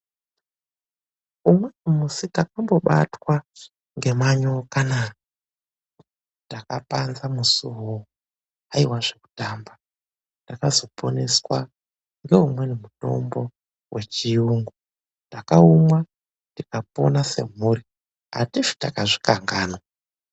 Umweni musi ndakambobatwa ngemanyokana ndakapanza musiwo aiwa zvekutamba. Ndakazoponeswa ngeumweni mutombo wechiyungu. Ndakaumwa ndikapona sebvuri. Andifi ndakazvikanganwa.